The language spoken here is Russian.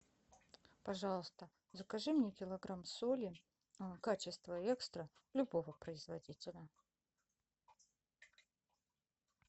пожалуйста закажи мне килограмм соли качества экстра любого производителя